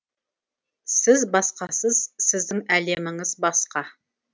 сіз басқасыз сіздің әлеміңіз басқа